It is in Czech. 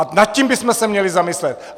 A nad tím bychom se měli zamyslet.